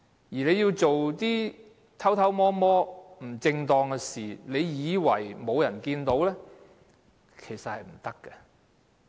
如果要做一些偷偷摸摸，不正當的事，以為沒有人看到，其實是不行的。